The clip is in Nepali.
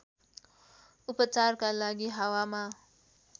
उपचारका लागि हावामा